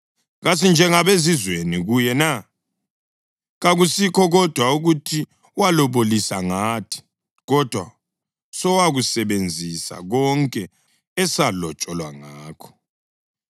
Kasinjengabezizweni kuye na? Kakusikho kodwa ukuthi walobolisa ngathi, kodwa sowakusebenzisa konke esalotsholwa ngakho.